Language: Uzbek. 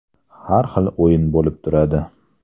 Har xil o‘yin bo‘lib turadi.